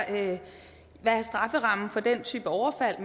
hvad strafferammen for den type overfald